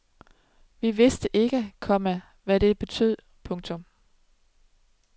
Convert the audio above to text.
Vi vidste ikke, komma hvad det betød. punktum